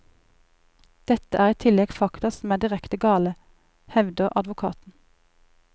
Dette er i tillegg fakta som er direkte gale, hevder advokaten.